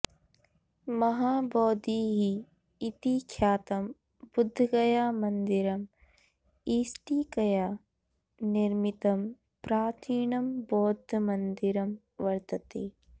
महाबोधिः इति ख्यातं बुद्धगयामन्दिरम् इष्टिकया निर्मितं प्राचीनं बौद्धमन्दिरं वर्तते